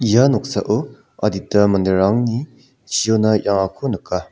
ia noksao adita manderangni chiona ia·angako nika.